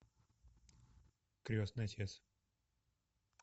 крестный отец